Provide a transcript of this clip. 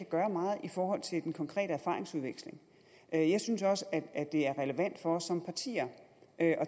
gøre meget i forhold til den konkrete erfaringsudveksling jeg synes også at det er relevant for os som partier at